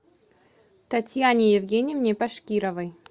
татьяне евгеньевне башкировой